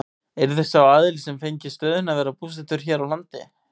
Yrði sá aðili sem fengi stöðuna að vera búsettur hér á landi?